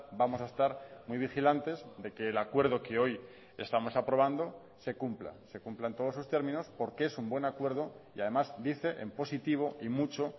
vamos a estar muy vigilantes de que el acuerdo que hoy estamos aprobando se cumpla se cumplan todos sus términos porque es un buen acuerdo y además dice en positivo y mucho